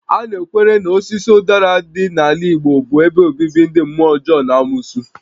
A na-ekwere na osisi ụdara dị n'ala Igbo bụ ebe obibi ndị mmụọ ọjọọ na amosu